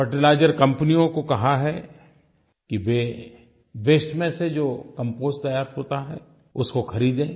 fertiliser कंपनियों को कहा है कि वे वास्ते में से जो कंपोस्ट तैयार होता है उसको ख़रीदें